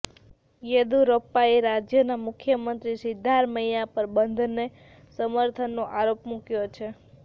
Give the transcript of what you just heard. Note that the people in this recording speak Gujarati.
યેદુરપ્પાએ રાજ્યના મુખ્યમંત્રી સિદ્ધારમૈયા પર બંધને સમર્થનનો આરોપ મૂક્યો છે